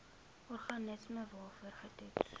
organisme waarvoor getoets